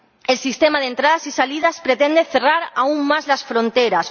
El sistema de entradas y salidas pretende cerrar aún más las fronteras